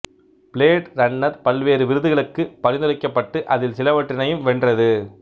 blade runner பல்வேறு விருதுகளுக்கு பரிந்துரைக்கபட்டு அதில் சிலவற்றினையும் வென்றது